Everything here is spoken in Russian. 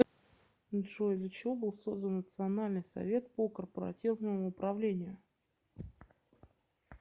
джой для чего был создан национальный совет по корпоративному управлению